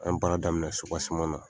An ye baara daminɛ na.